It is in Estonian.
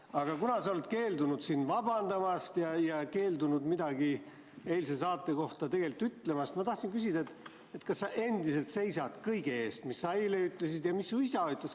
Aga kuna sa oled keeldunud siin vabandamast ja keeldunud midagi eilse saate kohta ütlemast, siis ma tahtsin küsida, kas sa endiselt seisad kõige eest, mis sa eile ütlesid ja mis su isa ütles.